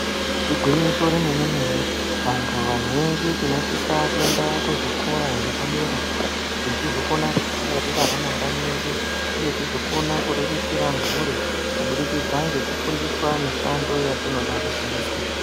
Igwinyiso remenemene vantu vazhinji tinosisa kuenda kuzvikora zvepadera kuti tizokone kudzigwarira ramangwani redu uye tizokona kuriritira mhuri kubudikidza ngekufundiswa mushando yatinoda kuzoita .